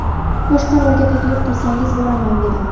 Boshqa rolga taklif qilsangiz boraman, dedim.